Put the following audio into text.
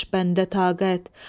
Qalmamış bəndə taqət.